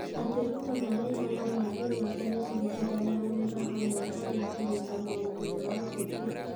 atĩ Ruto na Raila no mathiĩ na mbere kũrutithania wĩra hamwe harĩ kũrũnga maũndũ ma ũteti.